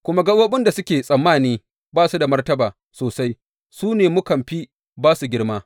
Kuma gaɓoɓin da muke tsammani ba su da martaba sosai, su ne mukan fi ba su girma.